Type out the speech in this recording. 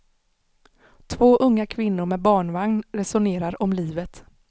Två unga kvinnor med barnvagn resonerar om livet.